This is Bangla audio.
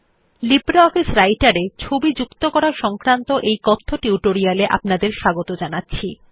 লিব্রিঅফিস Writer এ ছবি যুক্ত করা সংক্রান্ত এই কথ্য টিউটোরিয়াল এ আপনাদের স্বাগত জানাচ্ছি